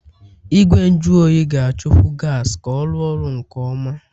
Igwe nju oyi ga-achọkwu gas ka ọ rụọ ọrụ nke ọma.